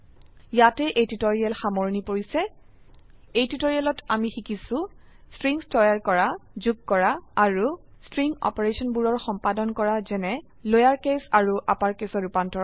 ইয়াতে এই টিউটৰীয়েল সামৰনি পৰিছে এই টিউটোৰিয়ালেত আমি শিকিছো স্ট্ৰিংস তৈয়াৰ কৰা যুগ কৰা আৰু স্ট্ৰিং অপাৰেশনবোৰৰ সম্পাদন কৰা যেনে লোয়াৰ কেস আৰু আপাৰ কেসৰ ৰুপান্তৰণ